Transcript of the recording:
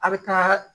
A bɛ taa